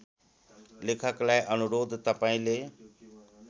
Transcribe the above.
लेखकलाई अनुरोध तपाईँले